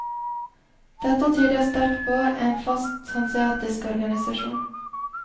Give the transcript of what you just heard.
Dette tyder sterkt på en fast hanseatisk organisasjon.